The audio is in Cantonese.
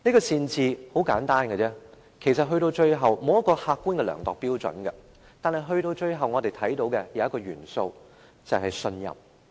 善治很簡單，其實歸根究底，並無客觀的量度標準，但我們看到一個元素，便是信任。